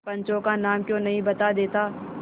पंचों का नाम क्यों नहीं बता देता